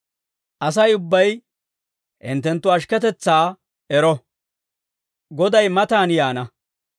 Asay ubbay hinttenttu ashikketetsaa ero; Goday matan yaana.